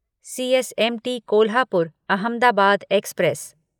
CSMT Kolhapur Ahmedabad express